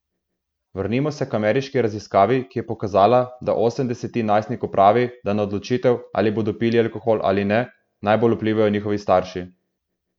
Vrnimo se k ameriški raziskavi, ki je pokazala, da osem desetin najstnikov pravi, da na odločitev, ali bodo pili alkohol ali ne, najbolj vplivajo njihovi starši.